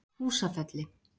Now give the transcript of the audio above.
Húsafelli